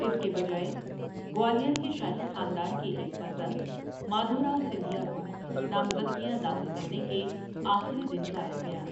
اس کے بجائے، گوالیار کے شاہی خاندان کے ایک فرزند مادھَوراؤ سِندھیا کو نامزدگیاں داخل کرنے کے آخری دن لایا گیا۔